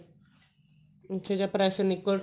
ਅੱਛਾ ਜਦ pressure ਨਿਕਲ ਜੂ